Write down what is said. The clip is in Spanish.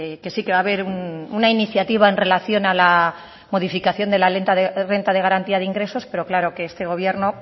que sí que va a ver una iniciativa en relación a la modificación de la renta de garantía de ingresos pero claro que este gobierno